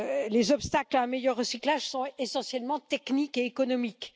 Les obstacles à un meilleur recyclage sont essentiellement techniques et économiques.